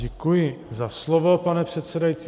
Děkuji za slovo, pane předsedající.